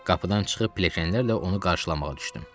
Qapıdan çıxıb pilləkənlərlə onu qarşılamağa düşdüm.